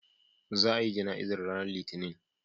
Za a yi jana'izar ranar Litinin.